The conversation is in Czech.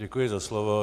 Děkuji za slovo.